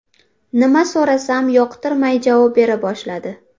Nima so‘rasam, yoqtirmay javob bera boshladi.